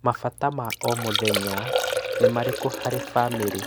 Mabata ma o,mũthenya nĩ marĩkũ harĩ bamĩrĩ?